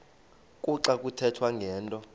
kuxa kuthethwa ngento